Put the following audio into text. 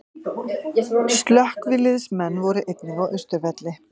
Slökkviliðsmenn voru einnig á Austurvelli